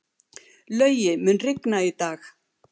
Laugi, mun rigna í dag?